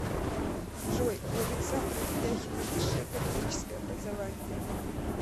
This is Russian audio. джой у александра ведяхина высшее экономическое образование